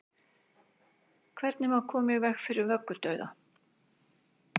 hvernig má koma í veg fyrir vöggudauða